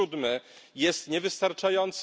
7 jest niewystarczający.